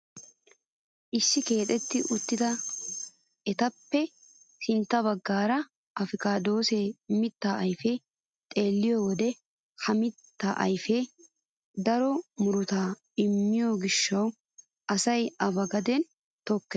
Issi keexetti uttida eettaappe sintta baggaara apikaadosiyaa mittaa ayfiyaa xeelliyoo wode ha mittaa ayfee daro murutaa immiyoo gishshawu asay a ba gaden tokkees.